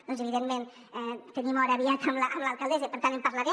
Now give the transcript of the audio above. doncs evidentment tenim hora aviat amb l’alcaldessa i per tant en par·larem